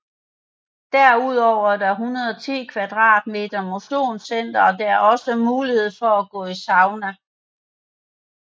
Derudover er der 110 kvadratmeter motionscenter og der er også mulighed for at gå i sauna